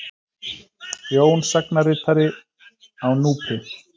Jón sagnaritara á Núpi.